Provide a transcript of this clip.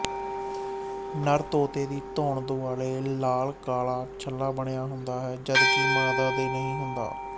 ਨਰ ਤੋਤੇ ਦੀ ਧੌਣ ਦੁਆਲ਼ੇ ਲਾਲਕਾਲ਼ਾ ਛੱਲਾ ਬਣਿਆ ਹੁੰਦਾ ਜਦਕਿ ਮਾਦਾ ਦੇ ਨਹੀਂ ਹੁੰਦਾ